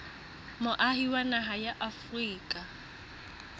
moahi wa naha ya afrika